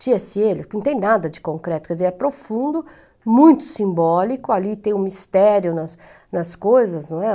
que não tem nada de concreto, quer dizer, é profundo, muito simbólico, ali tem um mistério nas nas coisas, não é?